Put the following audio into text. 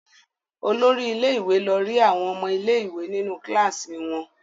Olori ilé-ìwé lọ rí àwọn ọmọ ilé-ìwé nínú kíláàsì wọn.